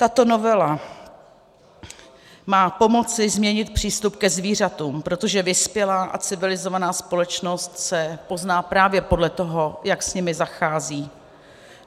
Tato novela má pomoci změnit přístup ke zvířatům, protože vyspělá a civilizovaná společnost se pozná právě podle toho, jak s nimi zachází.